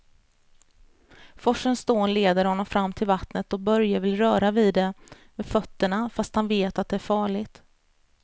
Forsens dån leder honom fram till vattnet och Börje vill röra vid det med fötterna, fast han vet att det är farligt.